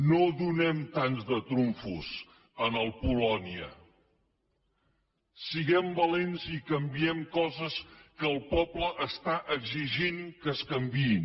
no donem tants de trumfos al polònia siguem valents i canviem coses que el poble està exigint que es canviïn